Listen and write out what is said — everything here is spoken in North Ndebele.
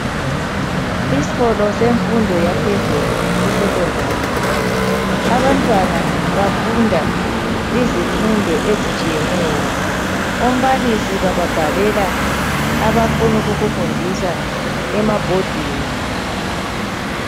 isikolo semfundo yaphezulu e secondary abantwana bafunda izifundo ezitshiyeneyo ababalisi bababhalela abafuna ukukufundisa amabhodini